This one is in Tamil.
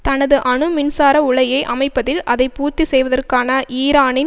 தனது அணு மின்சார உலையை அமைப்பதில் அதை பூர்த்தி செய்வதற்கான ஈரானின்